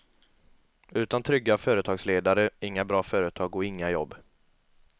Utan trygga företagsledare, inga bra företag och inga jobb.